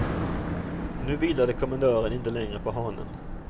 Nu vilade kommendören inte länge på hanen.